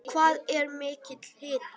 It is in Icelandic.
Hvað er mikill hiti?